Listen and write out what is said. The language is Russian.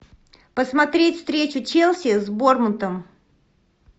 посмотреть встречу челси с борнмутом